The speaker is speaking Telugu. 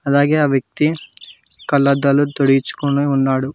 అలాగే వ్యక్తి కళ్ళద్దాలు తుడిచికొని ఉన్నాడు.